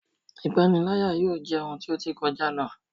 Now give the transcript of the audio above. Ipanilaya yóò jẹ ohun ti o ti kọja lo